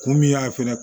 Kun min y'a fɛnɛ